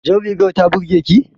Jar rigar ta burge ki?